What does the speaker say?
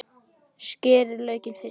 Skerið laukinn fínt.